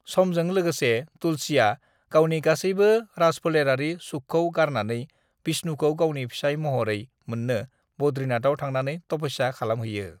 "समजों लोगोसे, तुलसीआ गावनि गासैबो राजफोलेरारि सुखखौ गारनानै विष्णुखौ गावनि फिसाय महरै मोननो बद्रीनाथआव थांनानै तपस्या खालामहैयो।"